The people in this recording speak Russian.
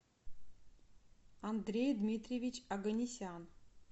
андрей дмитриевич оганесян